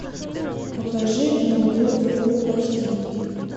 покажи монгол фул аш ди